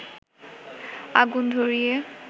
আগুন ধরিয়ে